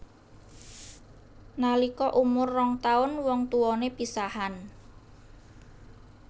Nalika umur rong taun wong tuwané pisahan